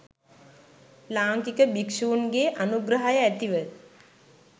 ලාංකික භික්‍ෂූන්ගේ අනුග්‍රහය ඇතිව